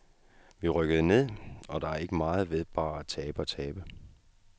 Vi rykkede ned, og der er ikke meget ved bare at tabe og tabe.